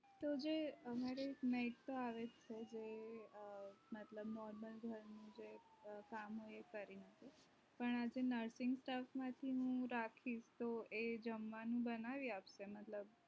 તો જે અમારે જે મતબલ normal હોય કે જે કામ હોય એ કરી આપે પણ જે nursing staff માંથી હું રાખીશ તો એ જમવાનું બનાવી આપશે મતબલ